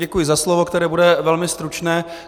Děkuji za slovo, které bude velmi stručně.